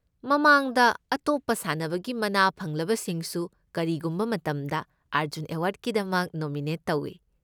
ꯃꯃꯥꯡꯗ ꯑꯇꯣꯞꯄ ꯁꯥꯟꯅꯕꯒꯤ ꯃꯅꯥ ꯐꯪꯂꯕꯁꯤꯡꯁꯨ ꯀꯔꯤꯒꯨꯝꯕ ꯃꯇꯝꯗ ꯑꯔꯖꯨꯟ ꯑꯦꯋꯥꯔꯗꯀꯤꯗꯃꯛ ꯅꯣꯃꯤꯅꯦꯠ ꯇꯧꯏ꯫